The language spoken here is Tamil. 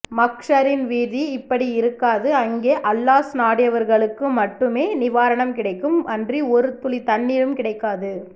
மஹ்ஷரின்வீதி இப்படியிருக்காது அங்கே அல்லாஹ் நாடியவர்களுக்குமட்டுமே நிவாரணம் கிடைக்கும் அன்றி ஒருதுளித்தண்ணீரும் கிடைக்காது